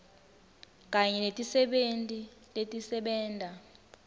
kanye netisebenti letisebenta